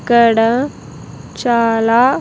ఇక్కడ చాలా.